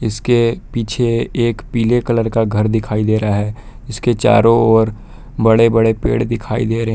इसके पीछे एक पीले कलर का घर दिखाई दे रहा है। इसके चारों ओर बड़े-बड़े पेड़ दिखाई दे रह --